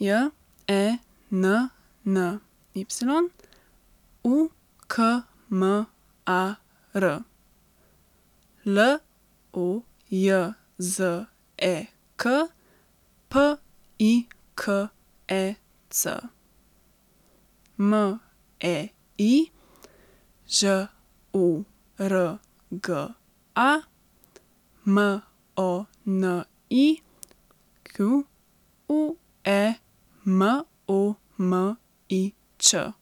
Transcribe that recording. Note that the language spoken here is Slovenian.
J E N N Y, U K M A R; L O J Z E K, P I K E C; M E I, Ž O R G A; M O N I Q U E, M O M I Ć.